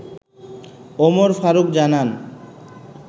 ওমর ফারুক জানান